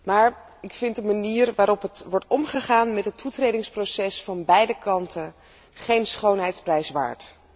Maar ik vind de manier waarop wordt omgegaan met het toetredingsproces van beide kanten geen schoonheidsprijs waard.